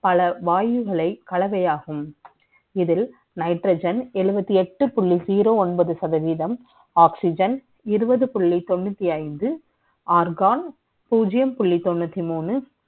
பல வாய்வுகளை கலவை ஆகும் இது Nitrogen எழுபத்து எட்டு புள்ளி பூஜ்யம் ஒன்பது சதவீதம் Oxygen இருபது புள்ளி தொன்று ஒன்பது organ பூஜ்ஜியம் புள்ளி தொன்று ஒன்பது